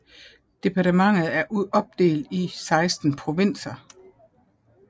Departementet er opdelt i 16 provinser